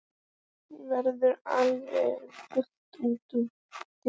Verður alveg fullt út úr dyrum?